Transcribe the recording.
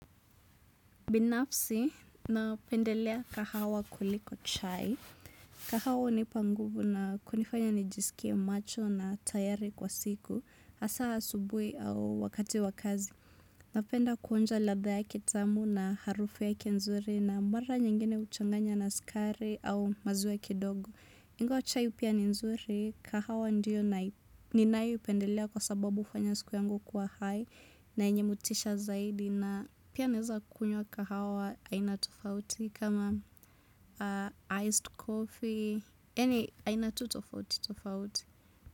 Binafsi, napendelea kahawa kuliko chai. Kahawa hunipa nguvu na kunifanya nijisikie macho na tayari kwa siku hasa asubuhi au wakati wa kazi. Napenda kuonja ladha yake tamu na harufu yake nzuri na mara nyingine huchanganya na sukari au maziwa kidogo. Ingawa chai pia ni nzuri, kahawa ndio ninayopendelea kwa sababu hufanya siku yangu kwa hai na yenye motisha zaidi. Na pia naeza kunywa hahawa aina tofauti kama iced coffee yaani aina tu tofauti tofauti.